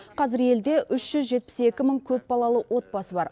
қазір елде үш жүз жетпіс екі мың көпбалалы отбасы бар